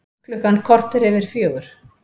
Klukkan korter yfir fjögur